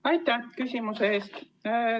Aitäh küsimuse eest!